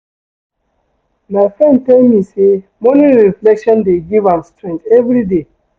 My friend tell me say morning reflection dey give am strength everyday.